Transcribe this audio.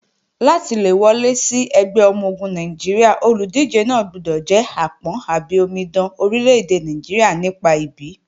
Láti le wọlé sí ẹgbẹ́ ọmọ-ogun Nàìjíríà, olùdíje náà gbọdọ̀ jẹ́ àpọ́n/omidan ọmọ orílẹ́-èdè Nàìjíríà nípa ìbí.